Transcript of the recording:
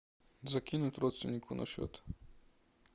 закинуть родственнику на счет